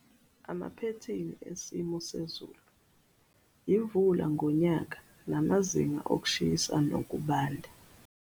Amaphethini esimo sezulu, imvula ngonyaka namazinga okushisa nokubanda.